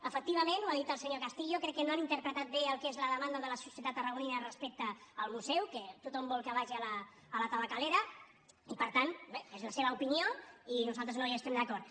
efectivament ho ha dit el senyor castillo crec que no han interpretat bé el que és la demanda de la societat tarragonina respecte al museu que tothom vol que vagi a la tabacalera i per tant bé és la seva opinió i nosaltres no hi estem d’acord